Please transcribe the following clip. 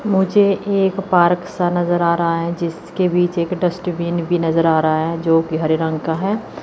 मुझे एक पार्क सा नजर आ रहा है जिसके बीच एक डस्टबिन भी नजर आ रहा हैं जो कि हरे रंग का है।